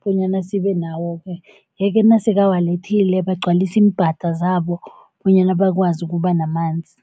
bonyana sibe nawo-ke. Yeke nasekawalethile bagcwalise iimbhada zabo bonyana bakwazi ukuba namanzi.